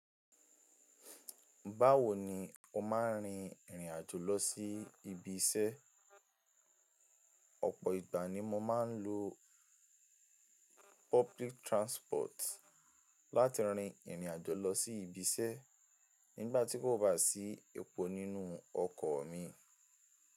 Báwo ni o máa ń rin ìrìn àjò lọ sí ibi iṣẹ́? Ọ̀pọ̀ ìgbà ni mo máa ń lo public transport láti rin ìrìn àjò lọ sí ibi iṣẹ́ nígbà tí kò bá sí epo nínú ọkọ̀ mi.